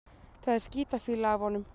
Það er skítafýla af honum.